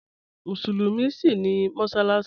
Musulumi síń ní mọ́ṣaláṣì